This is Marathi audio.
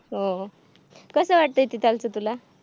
अह कसं वाटतय तीथालचं तुला